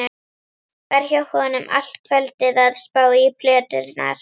Var hjá honum allt kvöldið að spá í plöturnar.